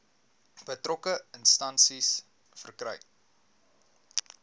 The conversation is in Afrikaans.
betrokke instansie verkry